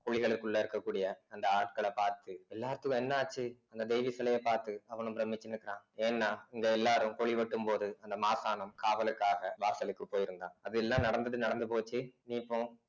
குழிகளுக்குள்ள இருக்கக்கூடிய அந்த ஆட்களை பார்த்து எல்லாத்துக்கும் என்ன ஆச்சு அந்த தேவி சிலைய பார்த்து அவனும் பிரமிச்சு நிக்குறான் ஏன்னா இங்க எல்லாரும் குழி வெட்டும்போது அந்த மாசானும் காவலுக்காக வாசலுக்கு போயிருந்தான் அது எல்லாம் நடந்துட்டு நடந்து போச்சு நீ இப்போ